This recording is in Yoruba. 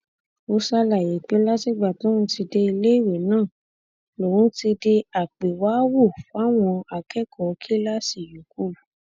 ó ṣàlàyé pé látìgbà tóun ti dé iléèwé náà lòun ti di àpéwàáwò fáwọn akẹkọọ kíláàsì yòókù